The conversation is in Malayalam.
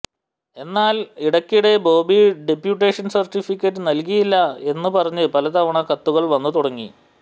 എന്നാൽ ഇടക്കിടെ ബോബി ഡെപ്യുട്ടേഷൻ സർട്ടിഫിക്കറ്റ് നൽകിയില്ല എന്ന് പറഞ്ഞു പലതവണ കത്തുകൾ വന്നു തുടങ്ങി